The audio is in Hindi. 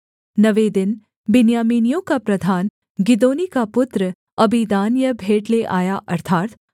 नवें दिन बिन्यामीनियों का प्रधान गिदोनी का पुत्र अबीदान यह भेंट ले आया